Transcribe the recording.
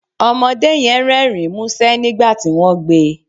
Ọmọdé yẹn Rẹ́rìn-ín músẹ́ nígbà tí wọ́n gbé e